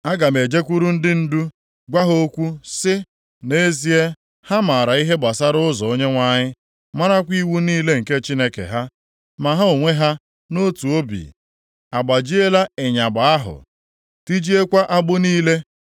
Aga m ejekwuru ndị ndu, gwa ha okwu sị, nʼezie ha maara ihe gbasara ụzọ Onyenwe anyị, marakwa iwu niile nke Chineke ha.” Ma ha onwe ha nʼotu obi agbajiela ịyagba ahụ, tijiekwa agbụ niile.